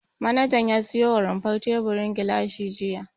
Manajan ya siyo wa rumfar teburin gilashi jiya.